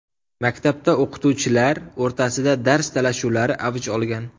Maktabda o‘qituvchilar o‘rtasida dars talashuvlari avj olgan.